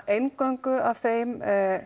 eingöngu af þeim